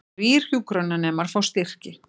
Þrír hjúkrunarnemar fá styrki